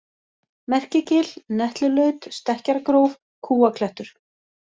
Merkigil, Netlulaut, Stekkjargróf, Kúaklettur